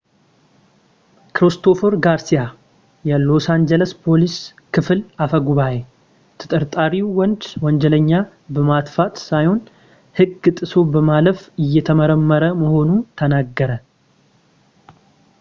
ክሪስቶፈር ጋርሲያ የሎስ አንጅለስ ፖሊስ ክፍል አፈጉባኤ ተጠርጣርው ወንድ ወንጀለኛ በማጥፋት ሳይሆን ህግ ጥሶ በማለፍ እየተመረመረ መሆኑን ተናገረ